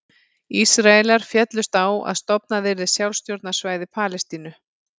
Ísraelar féllust á að stofnað yrði sjálfstjórnarsvæði Palestínu.